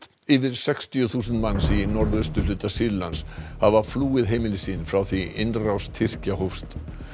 yfir sextíu þúsund manns í norðausturhluta Sýrlands hafa flúið heimili sín frá því innrás Tyrkja hófst